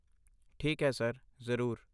ਠੀਕ ਹੈ ਸਰ, ਜ਼ਰੂਰ।